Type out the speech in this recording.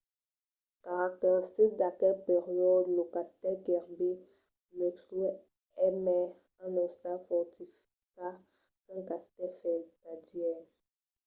caracteristic d’aquel periòde lo castèl kirby muxloe es mai un ostal fortificat qu’un castèl vertadièr